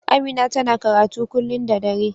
Amina ta na karatu kullun da dare.